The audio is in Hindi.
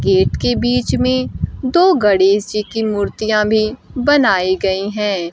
गेट के बीच में दो गणेश जी की मूर्तियां भी बनाई गई हैं।